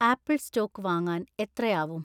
apple‍ stock വാങ്ങാൻ എത്രയാവും